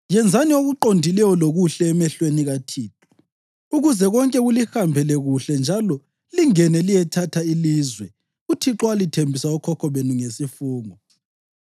Yenzani okuqondileyo lokuhle emehlweni kaThixo, ukuze konke kulihambele kuhle njalo lingene liyethatha ilizwe uThixo alithembisa okhokho benu ngesifungo,